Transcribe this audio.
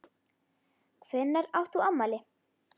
Hvenær átt þú afmæli?